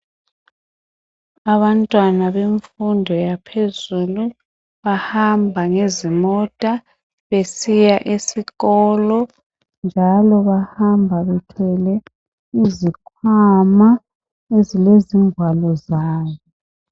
Abantwana yemfundo yaphezulu bahamba ngezimota besiya esikolo njalo bahamba bethwele izikhwama ezilezigwalo zabo.